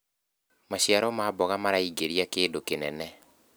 maciaro ma mboga maraingiria kĩndũ kĩnene